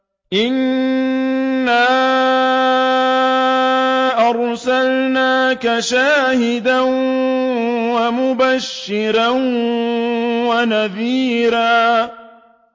إِنَّا أَرْسَلْنَاكَ شَاهِدًا وَمُبَشِّرًا وَنَذِيرًا